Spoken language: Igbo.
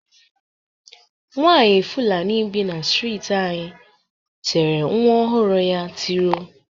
Nwaanyị Fụlanị bi na streeti anyị tere nwa ọhụrụ ya tiro.